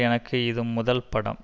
எனக்கு இது முதல் படம்